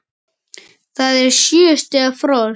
Það er sjö stiga frost!